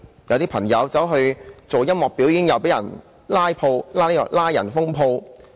有些朋友在工廈舉行音樂表演，竟被拘捕、封鋪。